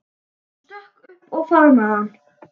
Hún stökk upp og faðmaði hann.